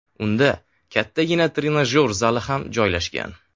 Unda kattagina trenajyor zali ham joylashgan.